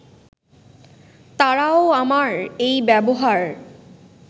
তারাও আমার এই ব্যবহার